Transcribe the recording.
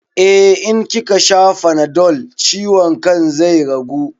Eh, in kikasha fanadol ciwon kan zai ragu